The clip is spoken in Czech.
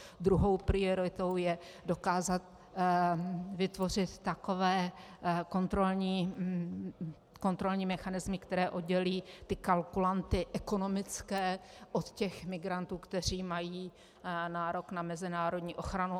Druhou prioritou je dokázat vytvořit takové kontrolní mechanismy, které oddělí ty kalkulanty ekonomické od těch migrantů, kteří mají nárok na mezinárodní ochranu.